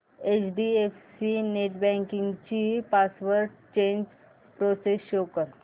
HDFC net banking ची password change process show कर